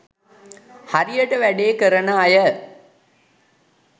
හරියට වැඩේ කරන අය